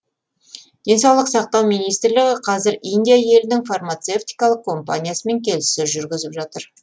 денсаулық сақтау министрлігі қазір индия елінің фармацевтикалық компаниясымен келіссөз жүргізіп жатыр